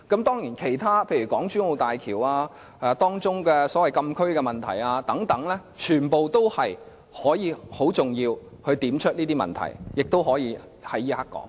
當然，其他問題，例如港珠澳大橋所謂禁區的問題等，全都很重要，亦可以在這時候說出來。